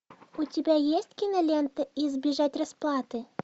у тебя есть кинолента избежать расплаты